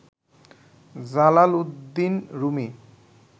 Jalaluddin Rumi